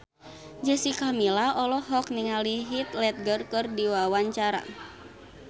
Jessica Milla olohok ningali Heath Ledger keur diwawancara